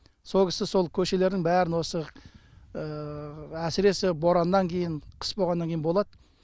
сол кісі сол көшелердің бәрін осы әсіресе бораннан кейін қыс болғаннан кейін болады